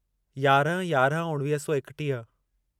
यारहं यारहं उणिवीह सौ एकटीह